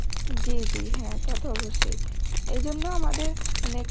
জী জী হ্যাঁ তা তো অবশ্যই,